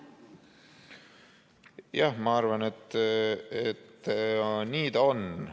Jah, ma arvan, et nii ta on.